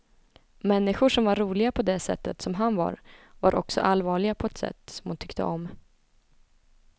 Människor som var roliga på det sättet som han var, var också allvarliga på ett sätt som hon tyckte om.